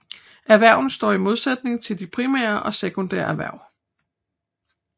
Erhvervene står i modsætning til de primære og sekundære erhverv